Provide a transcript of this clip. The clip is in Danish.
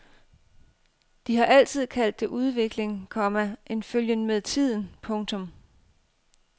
De har altid kaldt det udvikling, komma en følgen med tiden. punktum